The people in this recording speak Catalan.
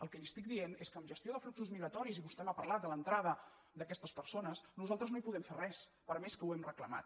el que li estic dient és que en gestió de fluxos migratoris i vostè m’ha parlat de l’entrada d’aquestes persones nosaltres no hi podem fer res per més que ho hem reclamat